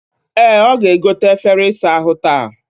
E, oga-egote efere isa ahu taa